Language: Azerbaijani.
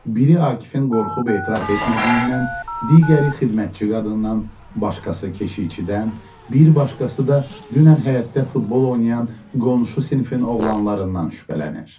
Biri Akifin qorxub etiraf etmədiyindən, digəri xidmətçi qadından, başqası keşiyçidən, bir başqası da dünən həyətdə futbol oynayan qonşu sinifin oğlanlarından şübhələnir.